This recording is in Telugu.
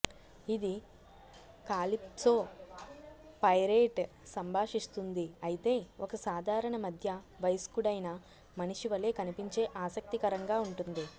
ఇది కాలిప్సో పైరేట్ సంభాషిస్తుంది అయితే ఒక సాధారణ మధ్య వయస్కుడైన మనిషి వలె కనిపించే ఆసక్తికరంగా ఉంటుంది